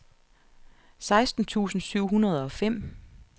seksten tusind syv hundrede og fem